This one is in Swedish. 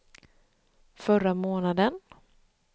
förra månaden